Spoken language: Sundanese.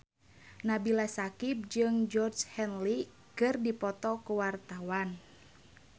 Nabila Syakieb jeung Georgie Henley keur dipoto ku wartawan